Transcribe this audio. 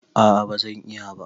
A'a, ba zan iya ba